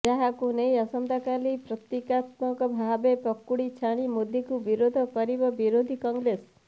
ଯାହାକୁ ନେଇ ଆସନ୍ତାକାଲି ପ୍ରତୀକାତ୍ମକ ଭାବେ ପକୁଡି ଛାଣି ମୋଦିଙ୍କୁ ବିରୋଧ କରିବ ବିରୋଧୀ କଂଗ୍ରେସ